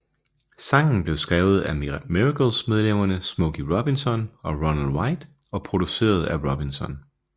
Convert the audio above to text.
Sangen blev skrevet af Miracles medlemmerne Smokey Robinson og Ronald White og produceret af Robinson